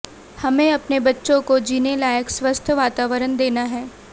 हमें अपने बच्चों को जीने लायक स्वस्थ वातावरण देना है